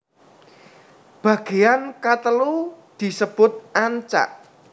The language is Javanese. Bagean katelu disebut ancak